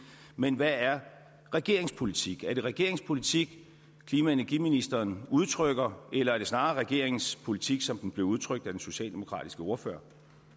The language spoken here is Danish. men hvad er regeringens politik er det regeringens politik klima og energiministeren udtrykker eller er det snarere regeringens politik som den blev udtrykt af den socialdemokratiske ordfører